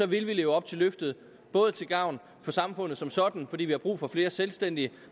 vil vi leve op til løftet både til gavn for samfundet som sådan fordi vi har brug for flere selvstændige